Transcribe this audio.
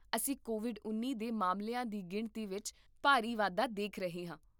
ਅਸੀਂ ਕੋਵਿਡ ਉੱਨੀ ਦੇ ਮਾਮਲਿਆਂ ਦੀ ਗਿਣਤੀ ਵਿੱਚ ਭਾਰੀ ਵਾਧਾ ਦੇਖ ਰਹੇ ਹਾਂ